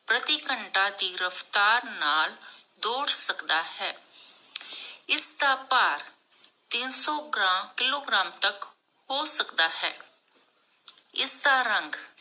ਪ੍ਰਤੀ ਘੰਟਾ ਦੀ ਰਫਤਾਰ ਨਾਲ ਦੁੱਧ ਸਕਦਾ ਹੈ ਇਸਦਾ ਭਾਰ ਟੇਨਸੋ ਗਰਮ ਕਿਲੋਗ੍ਰਾਮ ਤਕ ਹੋ ਸਕਦਾ ਹੈ ਇਸਦਾ ਰੰਗ